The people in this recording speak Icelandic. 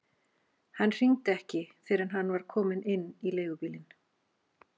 Hann hringdi ekki fyrr en hann var kominn inn í leigubílinn.